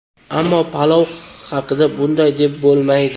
Ammo palov haqida bunday deb bo‘lmaydi.